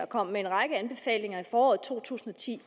kom med en række anbefalinger i foråret to tusind og ti